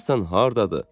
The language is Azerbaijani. Görəsən hardadır,